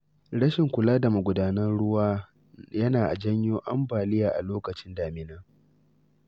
Rashin kula da magudanan ruwa yana janyo ambaliya a lokacin damina.